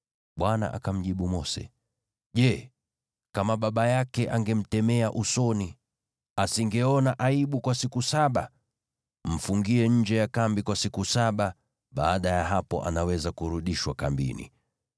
Bwana akamjibu Mose, “Je, kama baba yake angemtemea usoni, asingeona aibu kwa siku saba? Mfungie nje ya kambi kwa siku saba; baada ya hapo anaweza kurudishwa kambini.”